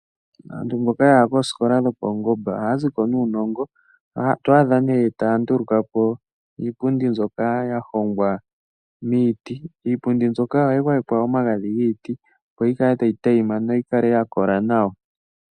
Aantu mboka ya ya koosikola dhopaungomba ohaa ziko nuunongo. Oto adha ne taa nduluka po iipundi mbyoka ya hongwa miiti. Iipundi mbyoka oha yi gwayekwa omagadhi giiti , opo yi kale tayi tayima nawa, noyi kale ya kola nawa.